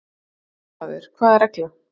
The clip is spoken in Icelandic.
Fréttamaður: Hvaða regla?